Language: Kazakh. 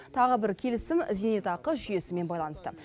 тағы бір келісім зейнетақы жүйесімен байланысты